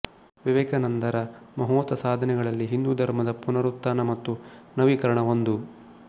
ವಿವೇಕಾನಂದರ ಮಹೋತ ಸಾಧನೆಗಳಲ್ಲಿ ಹಿಂದೂ ಧರ್ಮದ ಪುನರುತ್ತಾನ ಮತ್ತು ನವೀಕರಣ ಒಂದು